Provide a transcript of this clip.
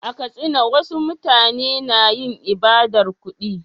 A Katsina, wasu mutane na yin ibadar kudi.